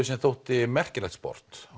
sem þótti merkilegt sport